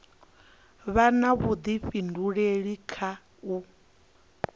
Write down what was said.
vha na vhudifhinduleli kha u